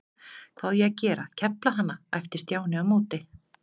Hvað á ég að gera, kefla hana? æpti Stjáni á móti.